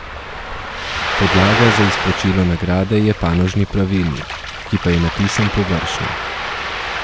Podlaga za izplačilo nagrade je panožni pravilnik, ki pa je napisan površno.